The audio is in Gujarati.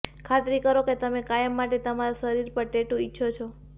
ખાતરી કરો કે તમે કાયમ માટે તમારા શરીર પર ટેટૂ ઇચ્છો છો